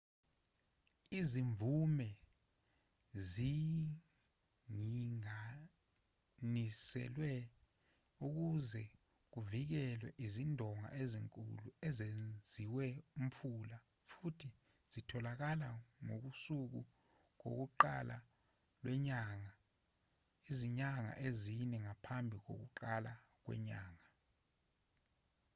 izimvume zinginganiselwe ukuze kuvikelwe izindonga ezinkulu ezenziwa umfula futhi zitholakala ngokusuku lokuqala lwenyanga izinyanga ezine ngaphambi kokuqala kwenyanga